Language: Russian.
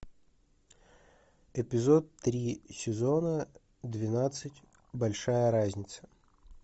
эпизод три сезона двенадцать большая разница